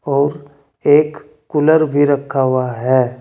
और एक कूलर भी रखा हुआ है।